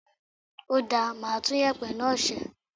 Ó dáa, màá tún yèpẹ̀ náà sẹ́.